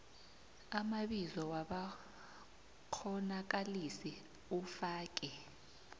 amabizo wabakghonakalisi ufake